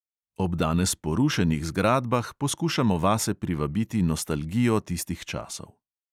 Ob danes porušenih zgradbah poskušamo vase privabiti nostalgijo tistih časov.